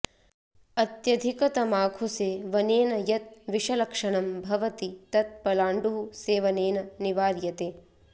अत्यधिकतमाखुसेवनेन यत् विषलक्षणं भवति तत् पलाण्डुः सेवनेन निवार्यते